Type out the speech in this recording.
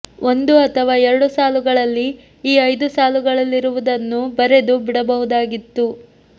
ಒಂದು ಅಥವಾ ಎರಡು ಸಾಲುಗಳಲ್ಲಿ ಈ ಐದು ಸಾಲುಗಳಲ್ಲಿರುವುದನ್ನು ಬರೆದು ಬಿಡಬಹುದಾಗಿತ್ತು